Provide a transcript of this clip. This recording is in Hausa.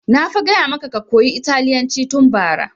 Na fa gaya maka ka koya italyanci tun bara!